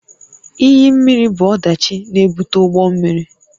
Iyi mmiri bụ ọdachi na-ebute ụgbọ mmiri